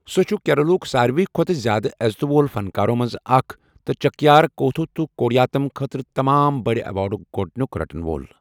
سُہ چھُ کیرالہ ہُک ساروِی کھوتہٕ زیادٕ عزتہٕ وول فنکارو منٛز اکھ تہٕ چکیار کوتھو تہٕ کوڈیاتم خٲطرٕ تمام بٔڑ ایوارڈٕک گۄدٕنِک رٹن وول۔